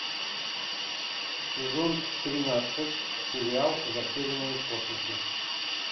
сезон тринадцать сериал затерянные в космосе